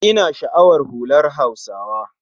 Ina sha'awar hular Hausawa